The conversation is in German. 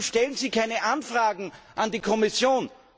Wieso stellen Sie keine Anfragen an die Kommission?